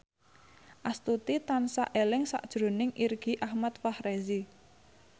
Astuti tansah eling sakjroning Irgi Ahmad Fahrezi